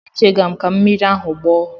Echega m ka mmiri ahụ gbọọ.